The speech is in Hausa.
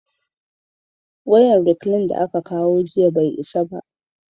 wayan reklin da aka kawo jiya bai isa ba